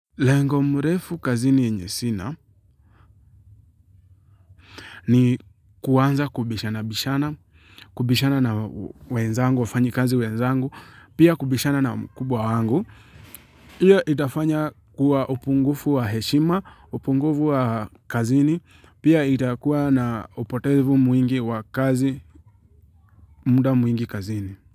Lengo mrefu kazini yenye sina ni kuanza kubishana bishana, kubishana na wenzangu, wafanyikazi wenzangu, pia kubishana na mkubwa wangu. Hiyo itafanya kuwa upungufu wa heshima, upungufu wa kazini, pia itakuwa na upotevu mwingi wa kazi, muda mwingi kazini.